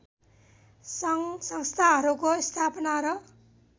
सङ्घसंस्थाहरूको स्थापना र